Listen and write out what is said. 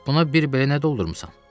Buna bir belə nə doldurmusan?